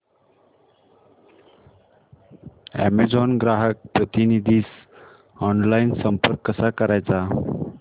Amazon ग्राहक प्रतिनिधीस online संपर्क कसा करायचा